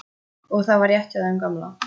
Og það var rétt hjá þeim gamla.